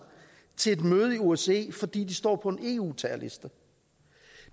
til et møde i osce fordi de står på en eu terrorliste